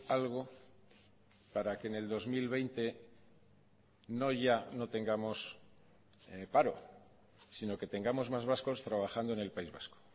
algo para que en el dos mil veinte no ya no tengamos paro sino que tengamos más vascos trabajando en el país vasco